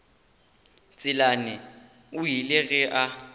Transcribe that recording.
tselane o ile ge a